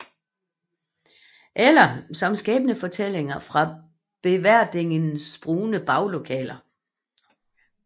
Eller som Skæbnefortællinger fra Beverdingernes Brune Baglokaler